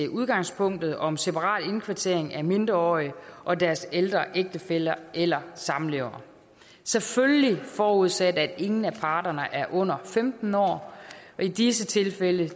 udgangspunktet om separat indkvartering af mindreårige og deres ældre ægtefæller eller samlevere selvfølgelig forudsat at ingen af parterne er under femten år i disse tilfælde